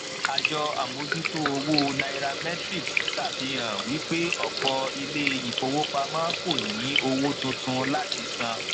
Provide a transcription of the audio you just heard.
àjọ amojuto owo nairametrics ṣàfihàn wípé ọpọ ilé ìfowópamọ kò ní owó tuntun láti san